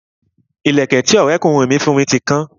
Ìlẹ̀kẹ̀ tí Ọrẹ kunrin mi fún mi ti kan